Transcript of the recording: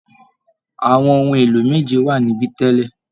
Àwọn ohun èlò méje wà nibẹ tẹ́lẹ̀